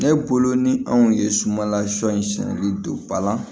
Ne bolo ni anw ye sumala sɔ in sɛni don ba la